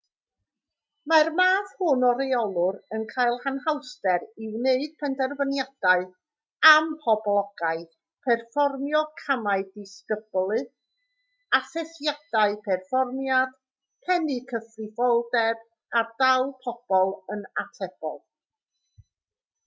mae'r math hwn o reolwr yn cael anhawster i wneud penderfyniadau amhoblogaidd perfformio camau disgyblu asesiadau perfformiad pennu cyfrifoldeb a dal pobl yn atebol